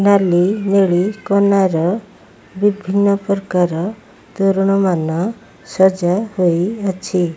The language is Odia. ନାଲି ନେଳି କନାର ବିଭିନ୍ନ ପ୍ରକାର ତୋରଣମାନ ସଜା ହୋଇ ଅଛି।